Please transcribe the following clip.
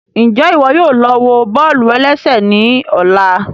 Njẹ iwọ yóò lọ wọ bọ́ọ̀lù-ẹlẹ́sẹ̀ ní ọ̀la?